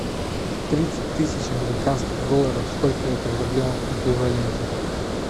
тридцать тысяч американских долларов сколько это в рублевом эквиваленте